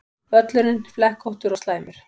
Völlurinn flekkóttur og slæmur